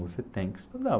Você tem que estudar.